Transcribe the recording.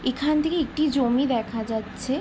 এখান থেকে একটি জমি দেখা যাচ্ছে।